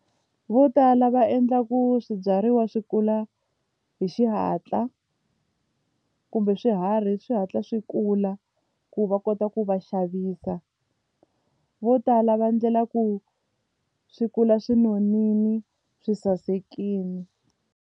Votala va endla ku swibyariwa swi kula hi xihatla kumbe swiharhi swi hatla swi kula ku va kota ku va xavisa vo tala va endlela ku swi kula swi nonile swi sasekile.